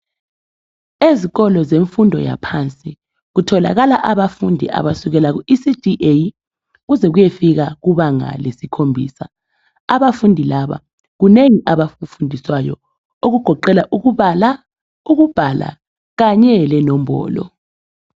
Ezikolo zemfundo yaphansi kutholakala abafundi abasukela kuECDA kuze kuyefika kubanga lesikhombisa. Abafundi laba kunengi abakufundiswayo okugoqela ukubala ukubhala kanye lenombolo.